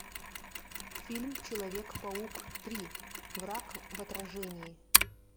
фильм человек паук три враг в отражении